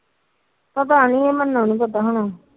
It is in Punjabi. ਪਤਾ ਨੀ ਮਨੂੰ ਨੂੰ ਪਤਾ ਹੋਣਾ।